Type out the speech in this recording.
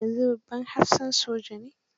Yanzu babban hafsan soja ne.